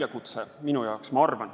Aitäh!